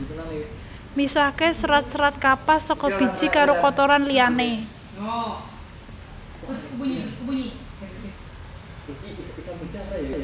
Misahke serat serat kapas saka biji karo kotoran liyane